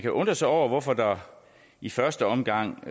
undre sig over hvorfor der i første omgang